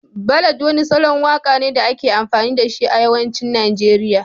Ballad wani salon waka ne da ake amfani da shi a yawancin Najeriya